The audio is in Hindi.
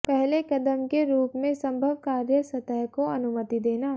पहले कदम के रूप में संभव कार्य सतह को अनुमति देना